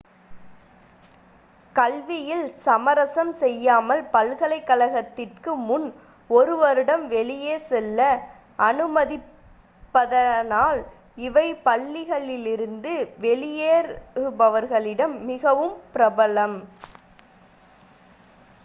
கல்வியில் சமரசம் செய்யாமல் பல்கலைக்கழகத்திற்கு முன் ஒரு வருடம் வெளியே செல்ல அனுமதிப்பதனால் இவை பள்ளியிலிருந்து வெளியேறுபவர்களிடம் மிகவும் பிரபலம்